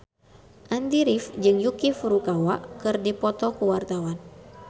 Andy rif jeung Yuki Furukawa keur dipoto ku wartawan